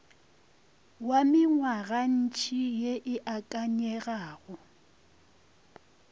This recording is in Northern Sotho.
wa mengwagantši ye e akanyegago